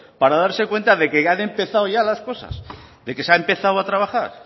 para darse cuenta de que han empezado ya las cosas de que se ha empezado ya a trabajar